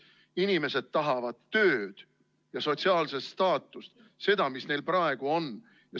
Inimesed tahavad tööd ja sotsiaalset staatust – seda, mis neil praegu on.